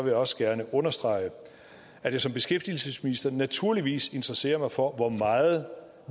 jeg også gerne understrege at jeg som beskæftigelsesminister naturligvis interesserer mig for hvor meget